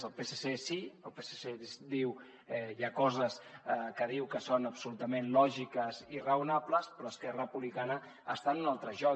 el psc sí el psc hi ha coses que diu que són absolutament lògiques i raonables però esquerra republicana està en un altre joc